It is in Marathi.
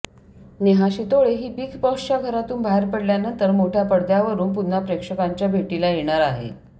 नेहा शितोळे ही बिग बॉसच्या घरातून बाहेर पडल्यानंतर मोठ्या पडद्यावरुन पुन्हा प्रेक्षकांच्या भेटीला येणार आहे